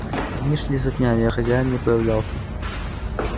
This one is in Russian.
дни шли за днями а хозяин не появлялся